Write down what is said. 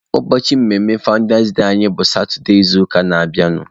Ụbọchị mmemme fawụndas anyị bụ satụde izuụka na-abịanụ.